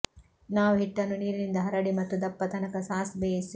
ನಾವು ಹಿಟ್ಟನ್ನು ನೀರಿನಿಂದ ಹರಡಿ ಮತ್ತು ದಪ್ಪ ತನಕ ಸಾಸ್ ಬೇಯಿಸಿ